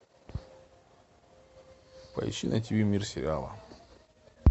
поищи на тиви мир сериала